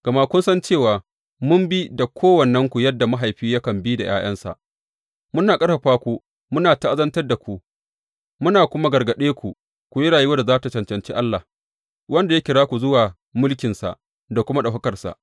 Gama kun san cewa mun bi da kowannenku yadda mahaifi yakan yi da ’ya’yansa, muna ƙarfafa ku, muna ta’azantar da ku, muna kuma gargaɗe ku ku yi rayuwar da za tă cancanci Allah, wanda ya kira ku zuwa mulkinsa da kuma ɗaukakarsa.